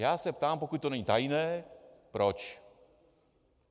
Já se ptám, pokud to není tajné, proč.